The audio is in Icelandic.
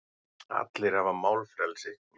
Allir hafa málfrelsi.